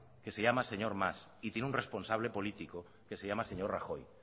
que se llama señor mas y tiene un responsable político que se llama señor rajoy